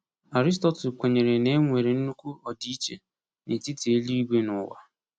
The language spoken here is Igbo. Aristotle kwenyere na e nwere nnukwu ọdịiche n’etiti eluigwe na ụwa.